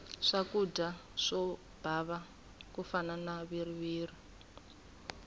swakudya swo bava ku fana na viriviri